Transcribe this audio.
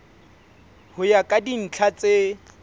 ho ya ka dintlha tse